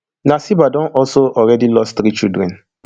nasiba don also already lost three children